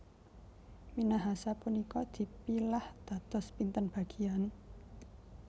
Minahasa punika dipilah dados pinten bagian?